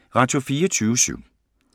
Radio24syv